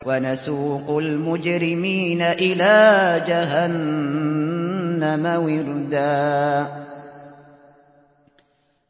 وَنَسُوقُ الْمُجْرِمِينَ إِلَىٰ جَهَنَّمَ وِرْدًا